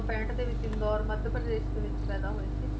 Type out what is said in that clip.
ਪੈਂਹਟ ਦੇ ਵਿੱਚ ਇੰਦੋਰ ਮੱਧ ਪ੍ਰਦੇਸ਼ ਦੇ ਵਿੱਚ ਪੈਦਾ ਹੋਏ ਸੀ।